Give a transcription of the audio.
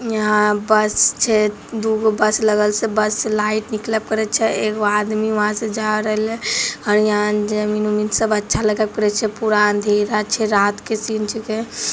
यहाँ बस छै दुगो बस लगल से बस से लाइट निकलव करे छै एक आदमी उहा से जा रहले और यहां जमीं उमीन सब अच्छा लगब करे छै पूरा अँधेरा छै रात के सीन छींके।